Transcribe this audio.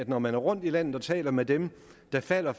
når man er rundt i landet og taler med dem der falder